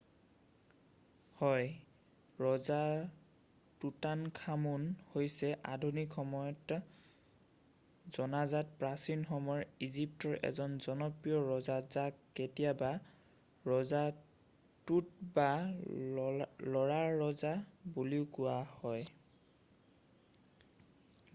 হয় ৰজা টুটানখামুন হৈছে আধুনিক সময়ত জনাজাত প্ৰাচীন সময়ৰ ইজিপ্তৰ এজন জনপ্ৰিয় ৰজা যাক কেতিয়াবা ৰজা টুট বা ল'ৰাৰজা বুলিও কোৱা হয়